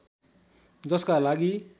जसका लागि